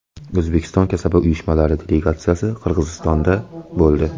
O‘zbekiston kasaba uyushmalari delegatsiyasi Qirg‘izistonda bo‘ldi.